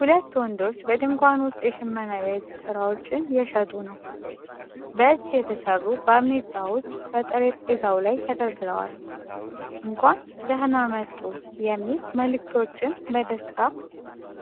ሁለት ወንዶች በድንኳን ውስጥ የሽመና የእጅ ሥራዎችን እየሸጡ ነው። የእጅ የተሠሩ ባርኔጣዎች በጠረጴዛው ላይ ተደርድረዋል። "እንኳን ደህና መጡ" የሚሉ መልእክቶች በደስታ